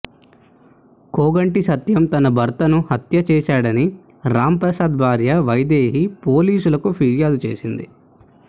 కోగంటి సత్యం తన భర్తను హత్య చేశాడని రాంప్రసాద్ భార్య వైదేహీ పోలీసులకు ఫిర్యాదు చేసింది